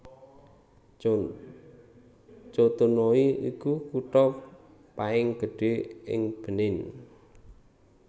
Cotonou iku kutha paing gedhé ing Benin